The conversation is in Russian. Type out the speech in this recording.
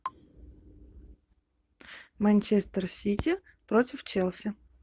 манчестер сити против челси